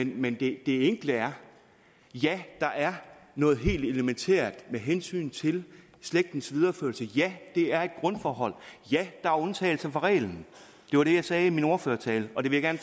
men det enkle er ja der er noget helt elementært med hensyn til slægtens videreførelse ja det er et grundforhold ja der er undtagelser fra reglen det var det jeg sagde i min ordførertale og det vil jeg